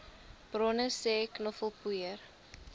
bronne sê knoffelpoeier